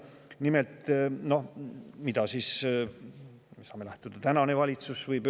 Nimelt saame siseministri, millest praegune valitsus lähtub.